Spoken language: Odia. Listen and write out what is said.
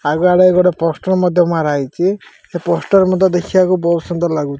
ଆଗଆଡେ ଗୋଟେ ପୋଷ୍ଟର ମଧ୍ୟ ମାରା ହେଇଛି। ଏଇ ପୋଷ୍ଟର ମଧ୍ୟ ଦେଖିବାକୁ ବହୁତ୍ ସୁ୍ନ୍ଦର ଲାଗୁ --